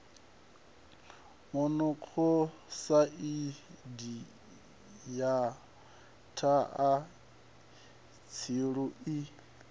monokosaidi na thaa tshilu i